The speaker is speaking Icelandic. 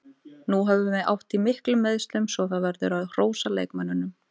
Við höfum átt í miklum meiðslum svo það verður að hrósa leikmönnunum.